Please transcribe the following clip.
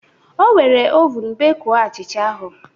O were oven bekuo achịcha ahụ